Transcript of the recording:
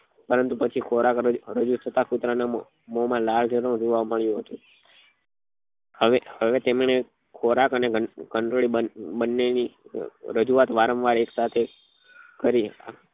પરંતુ પછી ખોરાક રજુ રજુ થતા કુતરા ના મોમાં લાળ જરૂ જોવા મળ્યું હતું હવે હવે તેમને ખોરાક અને ઘંટડી બન્ને ની રજૂઆત વારંવાર એકસાથે કરી